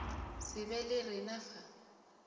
se be le rena fa